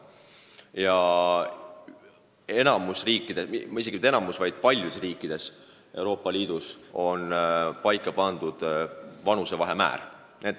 Ja enamikus riikides, õigemini mitte enamikus, vaid paljudes riikides Euroopa Liidus on sätestatud vanusevahe määr.